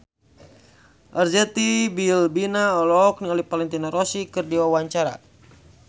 Arzetti Bilbina olohok ningali Valentino Rossi keur diwawancara